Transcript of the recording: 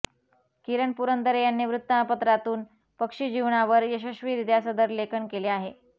किरण पुरंदरे यांनी वृत्तपत्रांतून पक्षिजीवनावर यशस्वीरीत्या सदरलेखन केले आहे